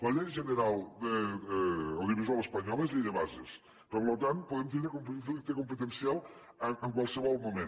la llei general audiovisual espanyola és llei de bases per tant podem tindre conflicte competencial en qualsevol moment